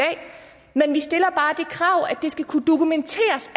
krav at det skal kunne dokumenteres